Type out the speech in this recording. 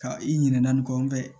Ka i ɲina nin kɔ